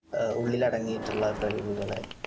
ഉള്ളിൽ അടങ്ങിയിട്ടുള്ള കഴിവുകളെ